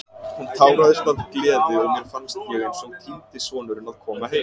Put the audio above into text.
Hún táraðist af gleði og mér fannst ég eins og týndi sonurinn að koma heim.